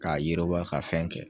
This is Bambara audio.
K'a yiriwa ka fɛn kɛ